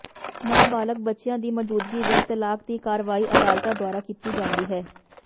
ਨਾਬਾਲਗ ਬੱਚਿਆਂ ਦੀ ਮੌਜੂਦਗੀ ਵਿਚ ਤਲਾਕ ਦੀ ਕਾਰਵਾਈ ਅਦਾਲਤਾਂ ਦੁਆਰਾ ਕੀਤੀ ਜਾਂਦੀ ਹੈ